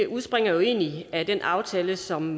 udspringer jo egentlig af den aftale som